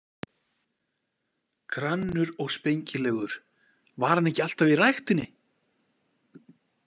Grannur og spengilegur, var hann ekki alltaf í ræktinni?